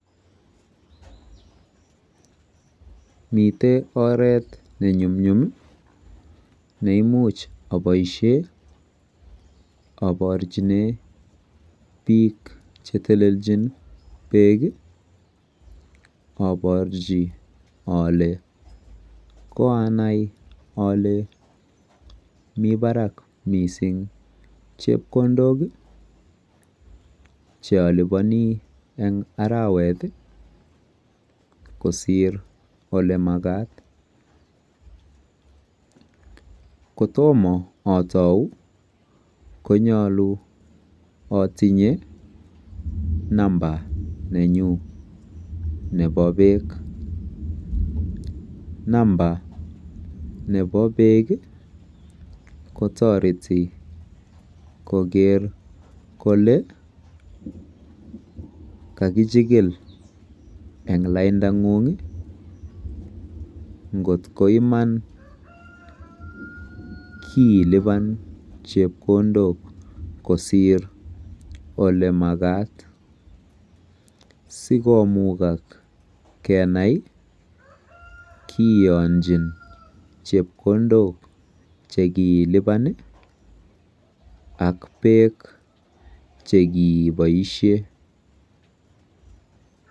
miten oreet nenumnyum iih neimuch oboisheen oborchinee biik chetelelchin beek iih oborchi ole koanai ole mii barak mising chepkondook cheoliponii en araweet iih kosiir olemagaat, kotomo otou konyolu otinye number nenyun nebo peek, cs} number nebo peek iih kotoreti kogeer kole kagichigil en lainda nguung iih ,ngot koiman kiilipan chepkondook kosiir olemagaat sigomugak kenai kiyonchin chepkondook chegiilinban iih ak peek chegiiboishen.